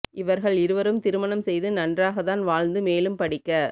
இவர்கள் இருவரும் திருமணம் செய்து நன்றாக தான் வாழ்ந்து மேலும் படிக்க